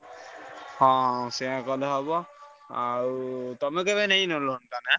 ହଁ ସେୟା କଲେ ହବ ଆଉ ତମେ କେବେ ନେଇନ loan ଟା ନା?